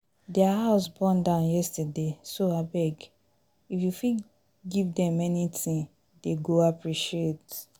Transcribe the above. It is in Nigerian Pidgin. their house born down yesterday so abeg if you fit give dem anything dey go appreciate